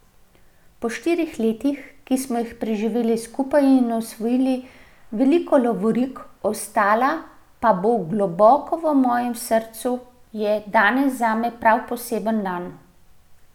Po štiri letih, ki smo jih preživeli skupaj in osvojili veliko lovorik, ostala pa bodo globoko v mojem srcu, je danes zame prav poseben dan.